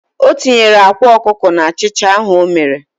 O tinyere akwa okuko n'achicha ahu o mere.